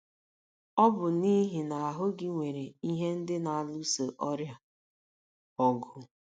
Ọ bụ n’ihi na ahụ́ gị nwere ihe ndị na - alụso ọrịa ọgụ.